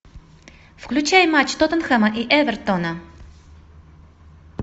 включай матч тоттенхэма и эвертона